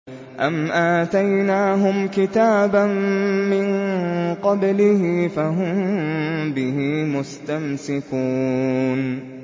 أَمْ آتَيْنَاهُمْ كِتَابًا مِّن قَبْلِهِ فَهُم بِهِ مُسْتَمْسِكُونَ